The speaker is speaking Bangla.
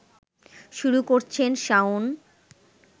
শুরু করছেন শাওন